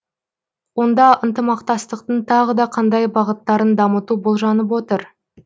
онда ынтымақтастықтың тағы да қандай бағыттарын дамыту болжанып отыр